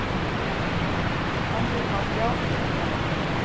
Myndbandið má sjá hér að neðan